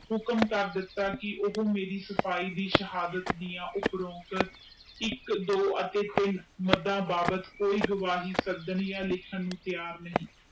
ਹੁਕਮ ਕਰ ਦਿਤਾ ਕਿ ਹਿਮੇਰੀ ਸਫਾਈ ਦੇ ਸ਼ਹਾਦਤ ਦੇ ਇਕ ਦੋ ਅਤੇ ਟੀਨ ਕੋਈ ਗਾਵੈ ਲੈਣ ਲਾਇ ਤੀਰ ਨੀ